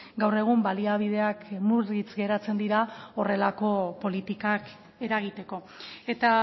gaur egun baliabideak murritz geratzen dira horrelako politikak eragiteko eta